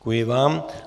Děkuji vám.